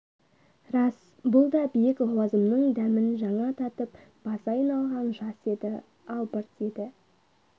рас бұл да биік лауазымның дәмін жаңа татып басы айналған жас еді албырт еді